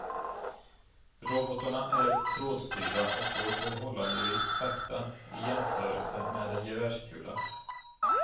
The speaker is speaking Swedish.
Robotarna är trådstyrda och går förhållandevis sakta i jämförelse med en gevärskula.